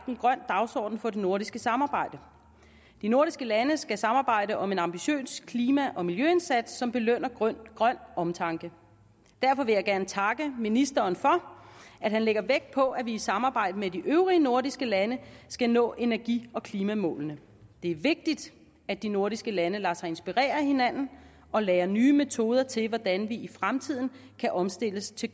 en grøn dagsorden for det nordiske samarbejde de nordiske lande skal samarbejde om en ambitiøs klima og miljøindsats som belønner grøn omtanke derfor vil jeg gerne takke ministeren for at han lægger vægt på at vi i samarbejde med de øvrige nordiske lande skal nå energi og klimamålene det er vigtigt at de nordiske lande lader sig inspirere af hinanden og lærer nye metoder til hvordan vi i fremtiden kan omstille os til